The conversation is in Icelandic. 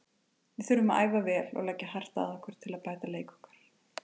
Við þurfum að æfa vel og leggja hart að okkur til að bæta leik okkar.